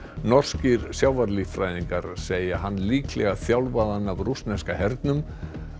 norskir segja hann líklega þjálfaðan af rússneska hernum